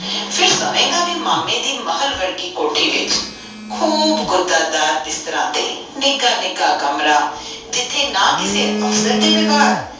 ਫੇਰ ਸੋਵੇਗਾ ਵੀ ਮਾਮੇ ਦੇ ਮਹਲ ਵਰਗੀ ਕੋਠੀ ਵਿਚ ਖੁਦ ਗਾੜਾ ਡਾਰ ਬਿਸਤਰੇ ਤੇ ਨਿਗਾਹ ਨਿਗਾਹ ਕਮਰਾ ਜਿਥੇ ਨਾ ਕਿਸੇ ਅਫਸਰ ਦੇ ਵਗੈਰ